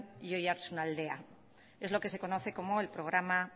y oiartzunaldea es lo que se conoce como el programa